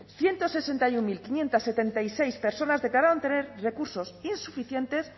ciento sesenta y uno mil quinientos setenta y seis personas declararon tener recursos insuficientes